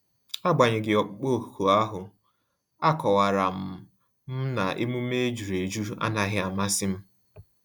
Agbanyeghi ọkpụkpọ ọkụ ahu, a kọwara m m na-emume ejuru eju anaghị amasị m